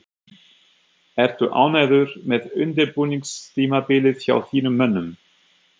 Ertu ánægður með undirbúningstímabilið hjá þínum mönnum?